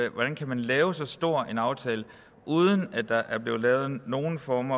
man kan lave så stor en aftale uden at der er blevet lavet nogen form